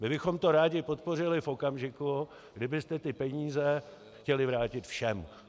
My bychom to rádi podpořili v okamžiku, kdybyste ty peníze chtěli vrátit všem.